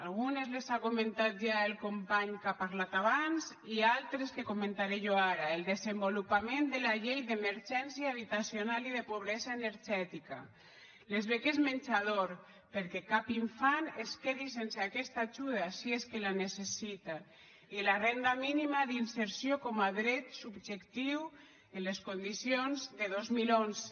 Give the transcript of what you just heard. algunes les ha comentat ja el company que ha parlat abans i altres que comentaré jo ara el desenvolupament de la llei d’emergència habitacional i de pobresa energètica les beques menjador perquè cap infant es quedi sense aquesta ajuda si és que la necessita i la renda mínima d’inserció com a dret subjectiu amb les condicions de dos mil onze